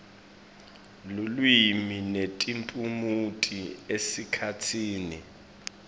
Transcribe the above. lulwimi netiphumuti esikhatsini